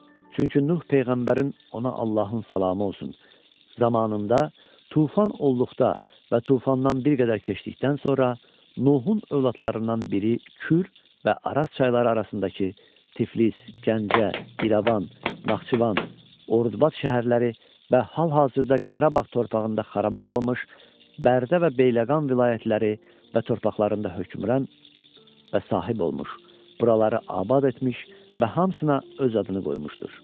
Çünki Nuh peyğəmbərin ona Allahın salamı olsun zamanında tufan olduqda və tufandan bir qədər keçdikdən sonra Nuhun övladlarından biri Kür və Araz çayları arasındakı Tiflis, Gəncə, İrəvan, Naxçıvan, Ordubad şəhərləri və hal-hazırda Qarabağ torpağında xaraba qalmış Bərdə və Beyləqan vilayətləri və torpaqlarında hökmran və sahib olmuş, buraları abad etmiş və hamısına öz adını qoymuşdur.